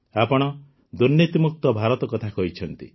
ଆପଣ ଦୁର୍ନୀତିମୁକ୍ତ ଭାରତ କଥା କହିଛନ୍ତି